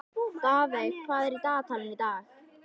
Daðey, hvað er í dagatalinu í dag?